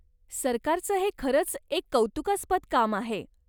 सरकारचं हे खरंच एक कौतुकास्पद काम आहे.